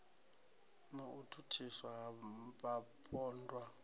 na u thusiwa ha vhapondwa